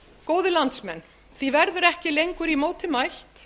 góðir landsmenn því verður ekki lengur í móti mælt